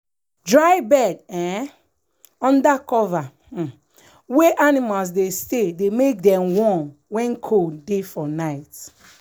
dry bed um under cover um wey animals dey stay dey make them warm when cold dey for night. um